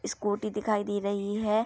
Scooty दिखाई दे रही है।